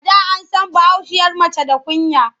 A da an san bahaushiyar mace da kunya.